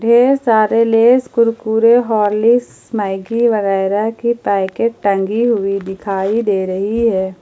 ये सारे Lay's Kurkure Horlicks Maggi वगैरह की पैकेट टंगी हुई दिखाई दे रही है।